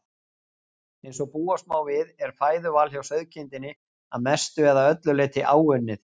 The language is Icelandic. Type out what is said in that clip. Eins og búast má við er fæðuval hjá sauðkindinni að mestu eða öllu leyti áunnið.